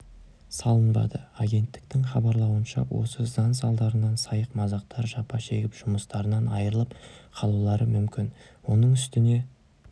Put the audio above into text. салынбады агенттіктің хабарлауынша осы заң салдарынан сайық-мазақтар жапа шегіп жұмыстарынан айырылып қалулары мүмкін оның үстіне